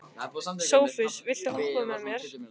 Sophus, viltu hoppa með mér?